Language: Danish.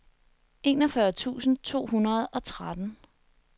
enogfyrre tusind to hundrede og tretten